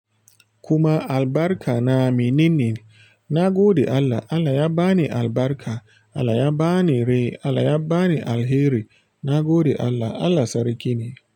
Kuma albarka na menene. Na gode Allah, Allah ya ba ni albarka, Allah ya ba ni rai, Allah ya ba ni alheri. Na gode Allah, Allah Sarki ne.